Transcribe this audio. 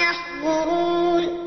يَحْضُرُونِ